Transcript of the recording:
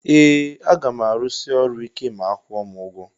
Ee agam arusi ọrụ ike ma akwụọ m ugwọ.